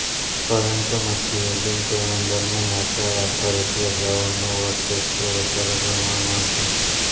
પરંતુ મધ્યયુગીન કેલેન્ડરમાં નાતાલ આધારિત રજાઓનું વર્ચસ્વ વધારે પ્રમાણમાં હતું